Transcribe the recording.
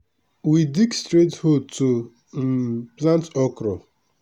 we dey dig straight hole to um plant okra.